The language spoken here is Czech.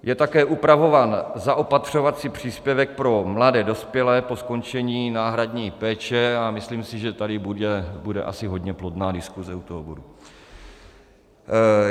Je také upravován zaopatřovací příspěvek pro mladé dospělé po skončení náhradní péče, a myslím si, že tady bude asi hodně plodná diskuse u toho bodu.